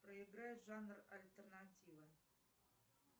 проиграй жанр альтернатива